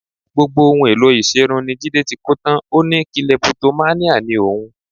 Gbogbo ohun èlò ìṣerun ni Jídé ti kó tán, ó ní kilẹpitománíà ni òun